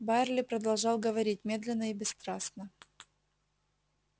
байерли продолжал говорить медленно и бесстрастно